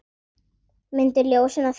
Mundu ljósinu að fylgja.